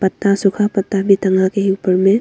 सूखा पत्ता भी टांगा गया है ऊपर में।